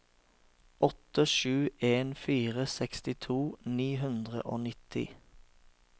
åtte sju en fire sekstito ni hundre og nitti